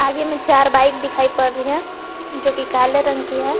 आगे में चार बाइक दिखाई पड़ रही हैं जो कि काले रंग की है।